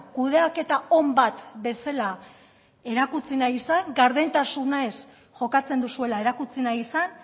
kudeaketa on bat bezala erakutsi nahi izan gardentasunez jokatzen duzuela erakutsi nahi izan